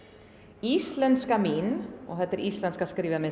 íslenzka mín og þetta er íslenzka skrifað með